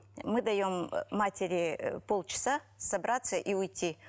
мы даем матери полчаса собраться и уйти